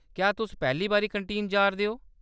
क्या तुस पैह्‌ली बारी कैंटीन जा’रदे ओ ?